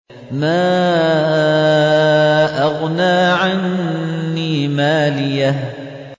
مَا أَغْنَىٰ عَنِّي مَالِيَهْ ۜ